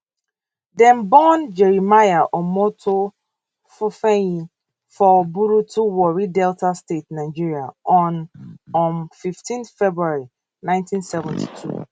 dem born jeremiah omoto fufeyin for burutu warri delta state nigeria on um 15 february 1972